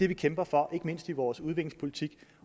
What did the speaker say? vi kæmper for ikke mindst i vores udviklingspolitik